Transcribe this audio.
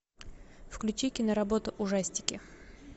включи киноработу ужастики